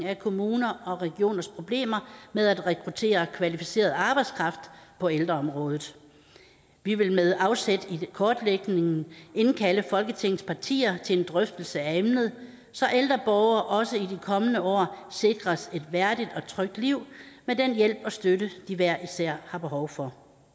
af kommuners og regioners problemer med at rekruttere kvalificeret arbejdskraft på ældreområdet vi vil med afsæt i kortlægningen indkalde folketingets partier til en drøftelse af emnet så ældre borgere også i de kommende år sikres et værdigt og trygt liv med den hjælp og støtte de hver især har behov for